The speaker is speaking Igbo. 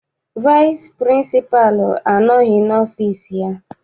Vaịsị pịrịnsịpalụ anọghị n'ọfịịsi ya.